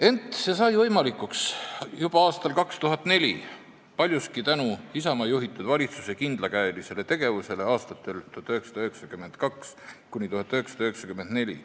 Ent see sai võimalikuks juba aastal 2004, ja paljuski tänu Isamaa juhitud valitsuse kindlakäelisele tegevusele aastatel 1992–1994.